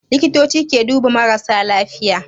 Likitoci ke duba marasa lafiya